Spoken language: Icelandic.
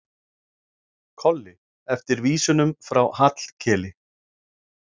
Kolli eftir vísunum frá Hallkeli.